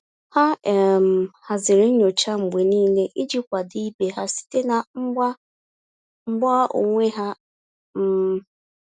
Ha um haziri nyocha mgbe niile iji kwado ibe ha site na mgba mgba onwe ha. um